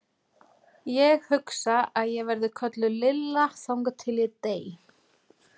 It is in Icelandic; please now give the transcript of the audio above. Ég hugsa að ég verði kölluð Lilla þangað til ég dey.